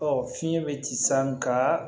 Ɔ fiɲɛ bɛ ci saga